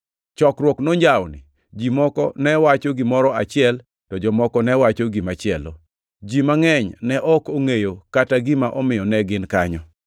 Chokruok nonjawni. Ji moko ne wacho gimoro achiel, to jomoko ne wacho gimachielo. Ji mangʼeny ne ok ongʼeyo kata gima omiyo ne gin kanyo.